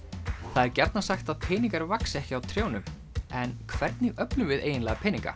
það er gjarnan sagt að peningar vaxi ekki á trjánum en hvernig öflum við eiginlega peninga